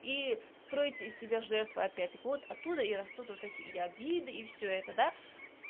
и строите из себя жертву опять так вот оттуда и растут вот эти и обиды и всё это да